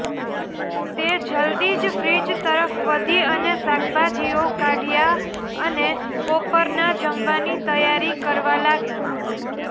તે જલ્દી જ ફ્રીજ તરફ વધી અને શાકભાજીઓ કાઢ્યા અને બપોરના જમવાની તૈયારી કરવા લાગી